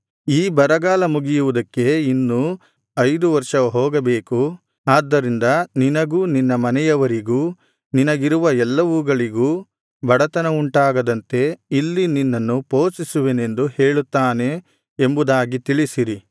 ಈ ಬರಗಾಲ ಮುಗಿಯುವುದಕ್ಕೆ ಇನ್ನೂ ಐದು ವರ್ಷ ಹೋಗಬೇಕು ಆದ್ದರಿಂದ ನಿನಗೂ ನಿನ್ನ ಮನೆಯವರಿಗೂ ನಿನಗಿರುವ ಎಲ್ಲವುಗಳಿಗೂ ಬಡತನವುಂಟಾಗದಂತೆ ಇಲ್ಲಿ ನಿನ್ನನ್ನು ಪೋಷಿಸುವೆನೆಂದು ಹೇಳುತ್ತಾನೆ ಎಂಬುದಾಗಿ ತಿಳಿಸಿರಿ